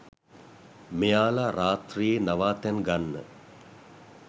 මෙයාල රාත්‍රියේ නවාතැන් ගන්න